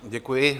Děkuji.